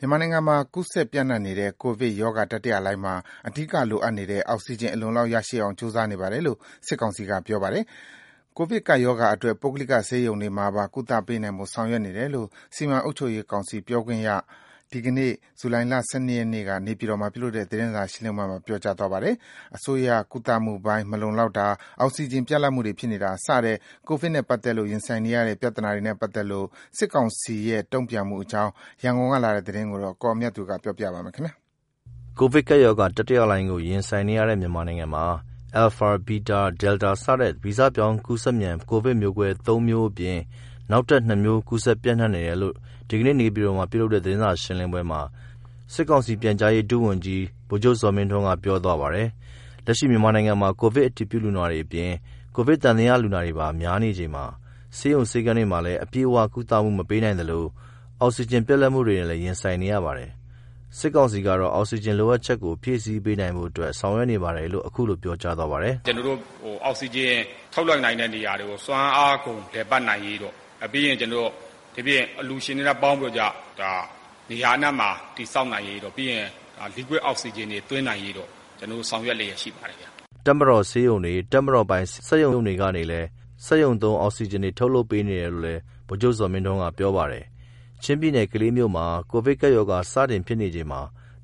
မြန်မာနိုင်ငံမှာ ကူးစက်ပျံ့နှံ့နေတဲ့ ကိုဗစ်ကပ်ရောဂါတတိယလှိုင်းမှာ အဓိကလိုအပ်နေတဲ့ အောက်စီဂျင် အလုံအလောက်ရရှိအောင် ကြိုးစားနေပါတယ်လို့ စစ်ကောင်စီက ပြောကြားပါတယ်။ ကိုဗစ်ကပ်ရောဂါအတွက် ပုဂ္ဂလိကဆေးရုံတွေမှာပါ ကုသပေးနိုင်ဖို့ ဆောင်ရွက်နေတယ်လို့ စီမံအုပ်ချုပ်ရေးကောင်စီပြောခွင့်ရက ဒီနေ့ ဇူလိုင်လ ၁၂ ရက် နေပြည်တော်မှာ ပြုလုပ်တဲ့ သတင်းစာရှင်းပွဲမှာ ပြောကြားသွားပါတယ်။ အစိုးရကုသမှုပိုင်း မလုံလောက်တာ၊ အောက်စီဂျင်ပြတ်လတ်မှုတွေဖြစ်နေတာ စတဲ့ကိုဗစ်နဲ့ပါတ်သက်လို့ရင်ဆိုင်နေရတဲ့ ပြဿနာတွေနဲ့ပါတ်သက်လို့ စစ်ကောင်စီရဲ့ တုံ့ပြန်အကြောင်း ရန်ကုန်ကပေးပို့တဲ့သတင်းကို ကိုအောင်မြတ်သူ ပြောပြပါမယ်။ ကိုဗစ်ကပ်ရောဂါ တတိယလှိုင်းကို ရင်ဆိုင်နေရတဲ့ မြန်မာနိုင်ငံမှာ Alpha, Beta, Delta စတဲ့ ဗီဇပြောင်းကူးစက်မြန် ကိုဗစ်မျိုးကွဲ ၃ မျိုးအပြင် နောက်ထပ် ၂ မျိုးကူးစက်ပျံ့နှံ့နေတယ်လို့ ဒီနေ့နေပြည်တော်မှာ ပြုလုပ်တဲ့သတင်းစာရှင်းပွဲမှာ စစ်ကောင်စီပြန်ကြားရေးပြန်ကြားရေး ဒုဝန်ကြီး ဗိုလ်ချုပ်ဇော်မင်းထွန်းက ပြောကြားပါတယ်။ လက်ရှိမြန်မာနိုင်ငံမှာ ကိုဗစ်အတည်ပြုနာတွေအပြင် ကိုဗစ်သံသယလူနာတွေပါ များနေချိန် ဆေးရုံ ဆေးခန်းတွေမှာ အပြည့်အဝ ကုသမှု မပေးနိုင်သလို အောက်စီဂျင်ပြတ်လပ်မှုတွေနဲ့လည်း ရင်ဆိုင်နေရပါတယ်။ စစ်ကောင်စီကတော့ အောက်စီဂျင်လိုအပ်ချက်ကို ဖြည့်ဆည်းနိုင်ဖို့ ဆောင်ရွက်နေပါတယ်လို့ ခုလိုပြောကြားသွားပါတယ်။ “ကျနော်တို့ အောက်ဆီဂျင်ထုတ်လွတ်နိုင်တဲ့ နေရာတွေကို စွမ်းအားကုန် လည်ပတ်နိုင်ရေး ပေါ့။ ပြီးရင် ကျနော်တို့ ဒိပြင် အလှူရှင်တွေနဲ့ ပေါင်းပြီးတော့ကျ နေရာအနှံ့မှာ တည် ဆောက် နိုင်ရေး ပြီးရင် liquid Oxygenတွေသွင်းရေးအတွက် ကျနော်တို့ ဆောင်ရွက် လျက်ရှိ ပါတယ်။” တပ်မတော်ဆေးရုံတွေ၊ တပ်မတော်ပိုင် စက်ရုံတွေကနေလည်း စက်ရုံသုံး အောက်စီဂျင်တွေ ထုတ်လုပ်ပေးနေတယ်လို့လည်း ဗိုလ်ချုပ်ဇော်မင်းထွန်းက ပြောပါတယ်။ ချင်းပြည်နယ် ကလေးမြို့မှာ ကိုဗစ်ကပ်ရောဂါ စတင်ဖြစ်ချိန်က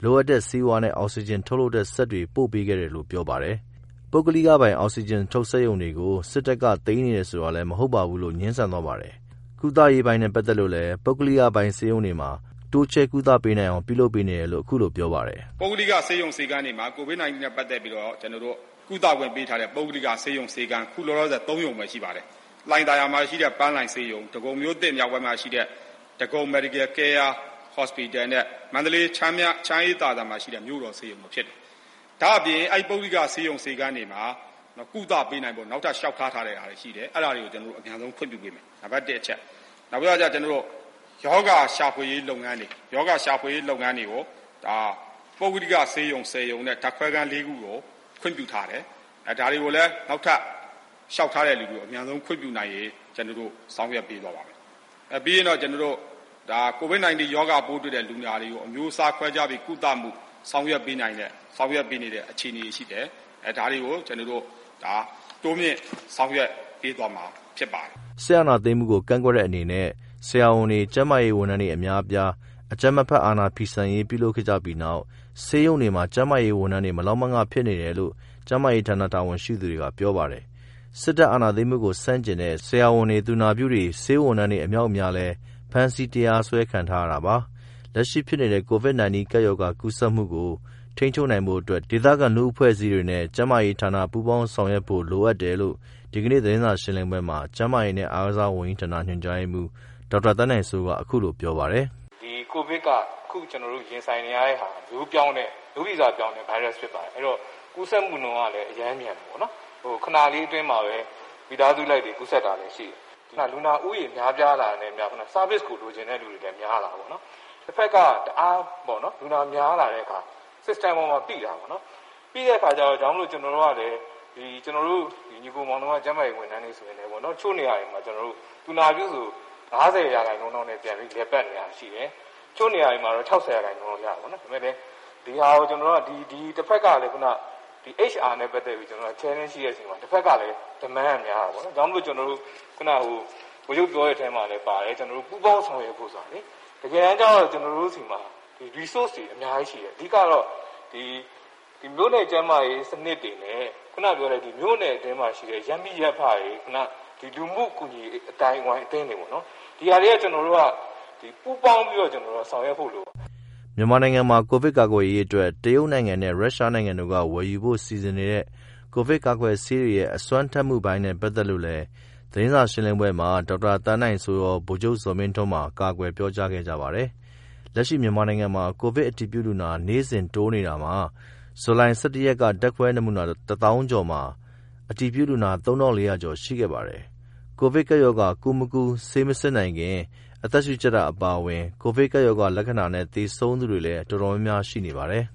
လိုအပ်တဲ့ဆေးဝါးနဲ့ အောက်စီဂျင်ထုတ်လုပ်တဲ့ စက်တွေပို့ပေးခဲ့တယ်လို့ ပြောပါတယ်။ ပုဂ္ဂလိကပိုင် အောက်စီဂျင်ထုတ်စက်ရုံတွေကို စက်တပ်က သိမ်းနေတယ်ဆိုတာလည်း မဟုတ်ပါဘူးလို့လည်း ငြင်းဆန်သွားပါတယ်။ ကုသရေးပိုင်းနဲ့ပါတ်သက်လို့လည်း ပုဂ္ဂလိကပိုင်ဆေးရုံတွေမှာပါ တိုးချဲ့ကုသပေးနိုင်အောင် လုပ်နေတယ်လို့ ခုလိုပြောပါတယ်။ “ ပုဂ္ဂလိက ဆေးရုံတွေမှာ ကိုဗစ်-၁၉နဲ့ ပတ်သတ်ပြီးတော့ အခုလောလောဆယ်ကုသခွင့် ပြုထားတဲ့ ပုဂ္ဂလိကဆေးရုံဆေးခန်း အခုလောလောဆယ် သုံးရုံပဲ ရှိပါတယ်။ လှိုင်သာယာမှာ ရှိတဲ့ ပန်းလှိုင်ဆေးရုံ ဒဂုံမြို့သစ်မြောက်ပိုင်းမှာ ရှိတဲ့ ဒဂုံ Medical care Hospital နဲ့ န္တလေး ချမ်းအေးသာစံမှာရှိတဲ့ မြို့တော်ဆေးရုံတို့ဖြစ်ပါတယ်။ ဒါအပြင့် အဲဒီပုဂ္ဂိက ဆေးရုံဆေးခန်း တွေမှာ ကုသခွင့်ရဖို့ နောက်ထပ်လျော်ကထားတာတွေရှိပါတယ်။ အဲတာတွေကို ကျနော်တို့ အမြန်ဆုံး ခွင့်ပြုပေးမယ်။ နောက်တစ်ခုကတော့ ရောဂါရှာဖွယ်ရေးလုပ်ငန်းတွေကို ပုဂ္ဂိက ဆေးရုံ ရုံနဲ့ ဓာတ်ခွဲခန်း ၄ခုကို ခွင့်ပြုထားတယ်။ဒါတွေကိုလည်း နောက်ထပ်လျောက် ထားသူတွေကို အမြန်ဆုံးခွင့်ပြုပေးသွားမယ်။ နောက်တစ်ခုကတော့ ကျနော်တို့ ကိုဗစ်-၁၉ ပိုးတွေ့လူနာတွေကို အမျိုးအစားခွဲခြားပြီး အမြန်ဆုံး ကုသပေးနေတဲ့ အခြေအနေတွေရှိတယ်။ ဒါတွေကို ကျနော်တို့ တိုးမြင့် ဆောင်ရွက်ပေးသွားမှာ ဖြစ်ပါတယ်။” စစ်အာဏာသိမ်းမှုကို ကန့်ကွက်တဲ့အနေနဲ့ ဆရာဝန်တွေ ကျန်းမာရေးဝန်ထမ်းတွေ အများအပြား အကြမ်းမဖက် အာဏာဖီဆန်ရေးလုပ်ခဲ့ကြပြီးနောက် ဆေးရုံတွေမှာ ကျန်းမာရေးဝန်ထမ်းတွေ မလောက်မငဖြစ်နေတယ်လို့ ကျန်းမာရေးဌာနတာဝန်ရှိသူကလည်း ပြောပါတယ်။ စစ်အာဏာသိမ်းမှုဆန့်ကျင်တဲ့ ဆရာဝန်တွေ၊ သူနာပြုတွေ ဆေးဝန်ထမ်းတွေအမြောက်အများလည်း ဖမ်းဆီး၊ တရားစွဲခံထားကြရတာပါ။ လက်ရှိဖြစ်နေတဲ့ ကိုဗစ်-၁၉ ကပ်ရောဂါ ကူးစက်မှုကို ထိန်းချုပ်နိုင်ဖို့ ဒေသခံလူမှု အဖွဲ့အစည်းတွေ အနေနဲ့ ကျန်းမာရေးဌာနနဲ့ ပူးပေါင်းဆောင်ရွက်ဖို့ လိုအပ်တယ်လို့ ဒီကနေ့သတင်းစာရှင်းလင်းပွဲမှာ ကျန်းမာရေးနဲ့ အားကစားဝန်ကြီးဌာန ညွန်ကြားရေးမှူး ဒေါက်တာ သန်းနိုင်စိုးက ခုလိုပြောပါတယ်။ “ အခုကျနော်တို့ ရင်ဆိုင်နေရတာက မျိုးရိုးဗီဇပြောင်းတဲ့ ဗိုင်းရပ်စ်ဖြစ်ပါတယ်။ ကူးစက်မှုနုှန်း ကလည်း အရမ်းမြန်တယ်ပေါ့နော်။ ခဏလေးအတွင်းမှာပဲ မိသားစုလိုက် ကူးစက်တာ တွေ လည်း ရှိတယ်။ လူနာဦးရေ များပြားလာတာနဲ့ အမျှ service တွေကို လိုချင်တဲ့သူတွေလည်း များပြားလာတာပေါ့နော်။ တစ်ဖက်က လူနာများလာတဲ့ အခါ systemပေါ်မှာ ပိတာပေါ့နော်။ ပိတဲ့အခါကျတော့ ကျနော်တို့ ညီကို မောင်နှမ ကျန်းမာရေးဝန်ထမ်းတွေဆိုရင် တစ်ချို့ နေရာ တွေမှာ သူနာပြုဆိုရင် ၅၀ ရခိုင်နှုန်းလောက်နဲ့ လည်ပတ်နေတာရှိတယ်။ တစ်ချို့ နေရာ တွေမှာတော့ ခြောက်ဆယ်ရာခိုင်နှူန်း လောက်ရှိတယ်ပေါေ့နာ် ဒါပေမယ့်လည်း တစ်ဖက်က HR နဲ့ ပတ်သတ်ပြီး ကျနော်တို့က စိန်ခေါ်မှာ ရှိတဲ့ အချိန်မှာ တစ်ဖက်ကလည်း ပင်ပန်းတာ များတာပေါ့နော်။ ဒါကြောင့်မလို့ ခုနားက ဗိုလ်ချုပ်ပြောတဲ့ ထဲမှာ ပါတယ် ပူပေါင်းဆောင်ရွက်ဖို့ ဆိုတာလေ တကယ်တမ်းကျတော့ ကျနော်တို့ဆီမှာ အရင်းအမြစ်တွေ အများကြီးရှိတယ်။ မြို့နယ် ကျန်းမာရေး စနစ်တွေနဲ့ မြို့နယ်အတွင်းမှာ ရှိတဲ့ ရပ်မိရပ်ဖတွေ ဒီလူမှုကူညီရေး အသင်းတွေပေါ့နော်။ ဒီဟာတွေက ကျနော်တို့က ပူပေါင်းပြီးတော့ ဆောင်ရွက်ဖို့ လိုပါတယ်။” မြန်မာနိုင်ငံမှာ ကိုဗစ်ကာကွယ်ရေးအတွက် တရုတ်နိုင်ငံနဲ့ ရုရှားနိုင်ငံတို့က ဝယ်ယူဖို့စီစဉ်နေတဲ့ ကိုဗစ်ကာကွယ်ဆေးတွေရဲ့ အစွမ်းထက်မှုပိုင်းနဲ့ပါတ်သက်လို့လည်း သတင်းစာရှင်းလင်းပွဲမှာ ဒေါက်တာသန်းနိုင်စိုးရော ဗိုလ်ချုပ်ဇော်မင်းထွန်းပါ ကာကွယ်ပြောကြားခဲ့ကြပါတယ်။ လက်ရှိမြန်မာနိုင်ငံမှာ ကိုဗစ်အတည်ပြုလူနာ နေ့စဉ်တိုးနေတာမှာ ဇူလိုင်လ ၁၁ ရက်က ဓါတ်ခွဲနမူနာ ၁ သောင်းကျော်မှာ အတည်ပြုလူနာ ၃ ထောင့် ၄ ရာကျော်ရှိခဲ့ပါတယ်။ ကိုဗစ်ကပ်ရောဂါ ကူးမကူး ဆေးမစစ်နိုင်ခင် အသက်ရှုကြပ်တာအပါအဝင် ကိုဗစ်ကပ်ရောဂါ လက္ခာဏာနဲ့ သေဆုံးသူတွေလည်း တော်တော်များများရှိနေပါတယ်။